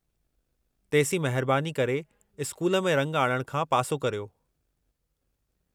तेसीं महिरबानी करे स्कूल में रंग आणणु खां पासो करियो।